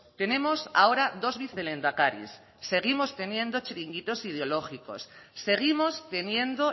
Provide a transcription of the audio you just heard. tenemos ahora dos vicelehendakaris seguimos teniendo chiringuitos ideológicos seguimos teniendo